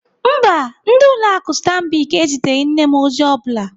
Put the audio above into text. Mba, ndị ụlọ akụ Stanbic eziteghị nne m ozi ọ bụla.